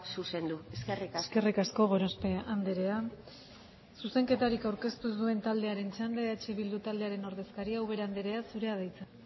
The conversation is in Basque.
zuzendu eskerrik asko eskerrik asko gorospe andrea zuzenketarik aurkeztu ez duen taldearen txanda eh bildu taldearen ordezkaria ubera andrea zurea da hitza